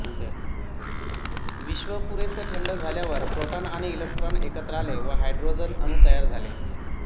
विश्व पुरेसे थंड झाल्यावर प्रोटॉन आणि इलेक्ट्रॉन एकत्र आले व हायड्रोजन अणू तयार झाले